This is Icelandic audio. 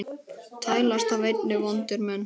tælast af einni vondir menn